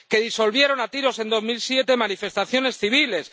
que disolvieron a tiros en 2007 manifestaciones civiles